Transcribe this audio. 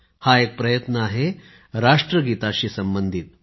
हा एक प्रयत्न आहे राष्ट्रगीताशी संबंधित